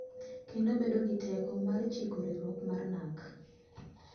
Kendo bedo gi teko mar chiko riwruok mar NaRC.